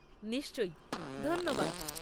নিশ্চয়ই, ধন্যবাদ।